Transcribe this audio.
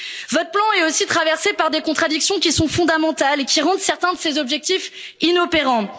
Votre plan est aussi traversé par des contradictions qui sont fondamentales et qui rendent certains de ses objectifs inopérants.